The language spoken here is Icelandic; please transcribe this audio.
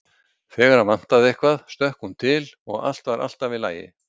Þegar hann vantaði eitthvað stökk hún til og allt var alltaf í lagi.